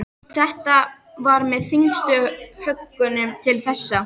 Þetta var með þyngstu höggunum til þessa.